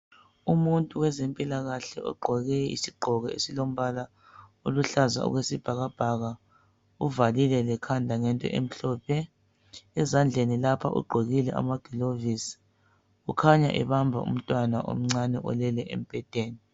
Umuntu wezempilakahle ogqoke isigqoko esilombala oluhlaza okwesibhakabhaka uvalile lekhanda ngento emhlophe ezandleni lapha ugqokile amagilovisi kukhanya ebamba umntwana omncane olele embhedeni.